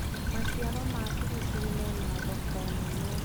maciaro ma biribiri mena thoko nene